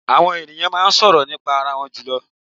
Àwọn è̀nìyàn máa ń sọ̀rọ̀ nípa arawọn jùlọ.